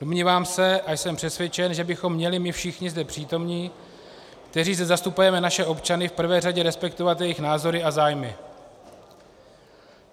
Domnívám se a jsem přesvědčen, že bychom měli my všichni zde přítomní, kteří zde zastupujeme naše občany, v prvé řadě respektovat jejich názory a zájmy.